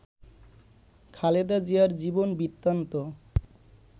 খালেদা জিয়ার জীবন বৃত্তান্ত